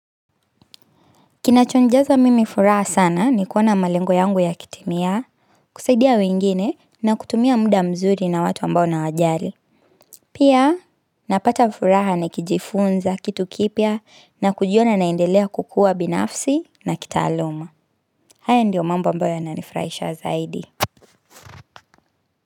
Kinacho ninjaza mimi furaha sana ni kuona malengo yangu ya kitimia, kusaidia wengine na kutumia muda mzuri na watu ambao nawajari. Pia napata furaha ni kijifunza, kitu kipya na kujiona naendelea kukua binafsi na kitaaluma. Haya ndio mambo ambayo yana nifurahisha zaidi.